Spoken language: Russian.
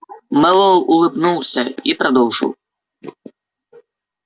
мэллоу улыбнулся и продолжил